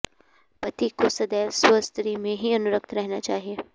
पति को सदैव स्वस्त्री में ही अनुरक्त रहना चाहिए